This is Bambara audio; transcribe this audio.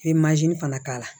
I bɛ fana k'a la